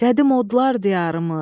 Qədim odlar diyarımız!